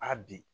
A bi